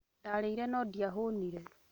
Ndarĩire no ndiahũnire